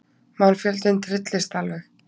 Mannfjöldinn trylltist alveg.